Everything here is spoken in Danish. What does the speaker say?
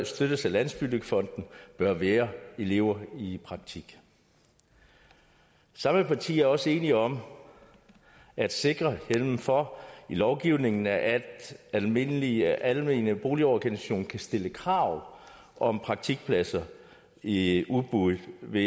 støttes af landsbyggefonden bør være elever i praktik samme partier er også enige om at sikre hjemmel for i lovgivningen at almindelige almene boligorganisationer kan stille krav om praktikpladser i udbud ved